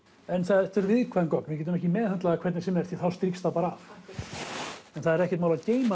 en þetta eru viðkvæm gögn við getum ekki meðhöndlað það hvernig sem er því þá stríkst það bara af en það er ekkert mál að geyma